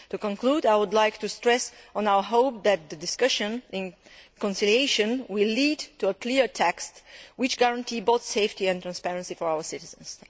To conclude, I would like to stress our hope that the discussion in conciliation will lead to a clear text which guarantees both safety and transparency for our citizens.